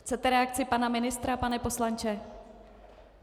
Chcete reakci pana ministra, pane poslanče?